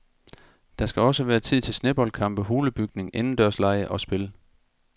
Der skal også være tid til sneboldkampe, hulebygning, indendørslege og spil.